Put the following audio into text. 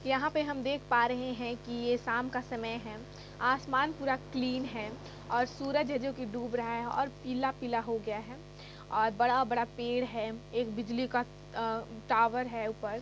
यहा पर हम देख पा रहे है की ये शाम का समय है। आसमान पूरा क्लीन है। और सूरज है जोकि डूब रहा है और पीला पीला हो गया है। और बड़ा बड़ा पेड़ हैं। एक बिजली का अ टोअर है ऊपर।